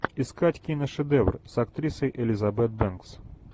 искать киношедевр с актрисой элизабет бэнкс